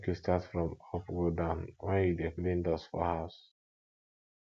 make you start from up go down when you dey clean dust for house